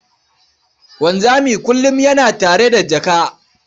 Wanzami kullum yana tare da jaka.